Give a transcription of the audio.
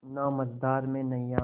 ना मझधार में नैय्या